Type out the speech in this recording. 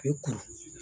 I kuru